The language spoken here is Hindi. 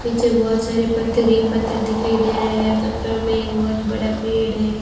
पीछे बहोत सारे पत्थर ही पत्थर दिखाई दे रहे हैं पत्थरों में एक बहोत बड़ा पेड़ है।